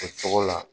O tɔgɔ la